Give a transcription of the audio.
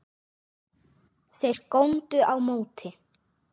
Þeir góndu á móti.